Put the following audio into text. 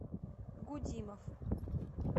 гудимов